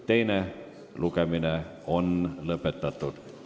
Teine lugemine on lõpetatud.